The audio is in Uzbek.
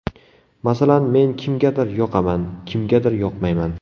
Masalan, men kimgadir yoqaman, kimgadir yoqmayman.